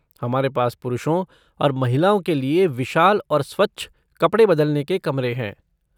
हमारे पास पुरुषों और महिलाओं के लिए विशाल और स्वच्छ कपड़े बदलने के कमरे हैं।